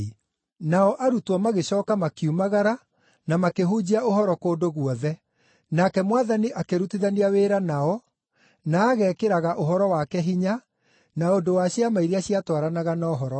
Nao arutwo magĩcooka makiumagara na makĩhunjia ũhoro kũndũ guothe, nake Mwathani akĩrutithania wĩra nao, na agekĩraga ũhoro wake hinya na ũndũ wa ciama iria ciatwaranaga na ũhoro ũcio.